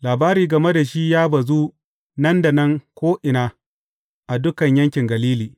Labari game da shi ya bazu nan da nan ko’ina a dukan yankin Galili.